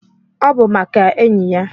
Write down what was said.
Obu maka enyi ya